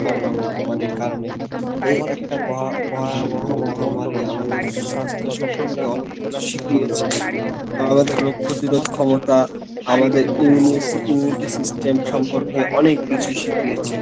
Corona মহামারীর কারনে এই একটা ভ~ভয়াবহ মহামারী আমাদের স্বাস্থ্য সম্পর্কে অনেক কিছু শিখিয়েছে, আহ আমাদের রোগ প্রতিরোধ ক্ষমতা আমাদের immunity system সম্পর্কে অনেক কিছু শিখিয়েছে